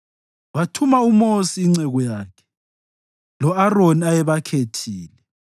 Wathuma uMosi inceku yakhe, lo-Aroni ayebakhethile.